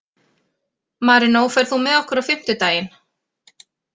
Marinó, ferð þú með okkur á fimmtudaginn?